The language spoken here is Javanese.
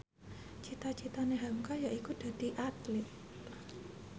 cita citane hamka yaiku dadi Atlit